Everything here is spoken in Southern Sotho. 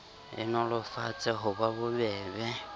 e nolofetse ho ba bobebe